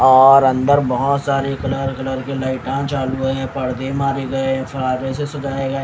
और अंदर बहुत सारे कलर कलर के लाइटा चालू हैं पर्दे मारे गए हैं फरारे से सजाए गए--